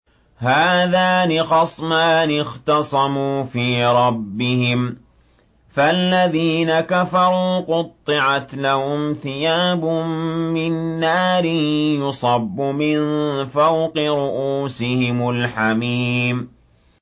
۞ هَٰذَانِ خَصْمَانِ اخْتَصَمُوا فِي رَبِّهِمْ ۖ فَالَّذِينَ كَفَرُوا قُطِّعَتْ لَهُمْ ثِيَابٌ مِّن نَّارٍ يُصَبُّ مِن فَوْقِ رُءُوسِهِمُ الْحَمِيمُ